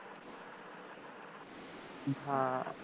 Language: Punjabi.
ਹਾਂ